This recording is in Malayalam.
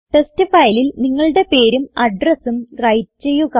ടെസ്റ്റ് ഫയലിൽ നിങ്ങളുടെ പേരും അഡ്രസും വ്രൈറ്റ് ചെയ്യുക